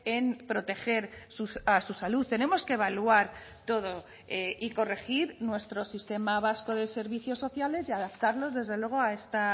en proteger a su salud tenemos que evaluar todo y corregir nuestro sistema vasco de servicios sociales y adaptarlos desde luego a esta